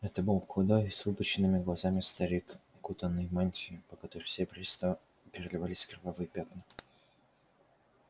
это был худой с выпученными глазами старик укутанный в мантию по которой серебристо переливались кровавые пятна